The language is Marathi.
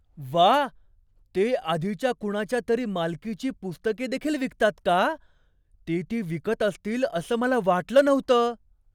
व्वा! ते आधीच्या कुणाच्या तरी मालकीची पुस्तके देखील विकतात का? ते ती विकत असतील असं मला वाटलं नव्हतं.